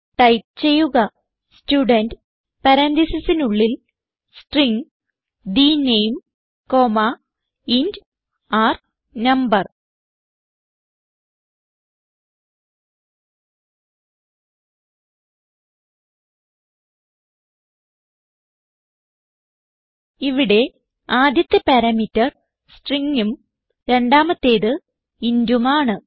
type ചെയ്യുക student പരാൻതീസിസിനുള്ളിൽ string the name comma int r no ഇവിടെ ആദ്യത്തെ പാരാമീറ്റർ stringഉം രണ്ടാമത്തേത് intഉം ആണ്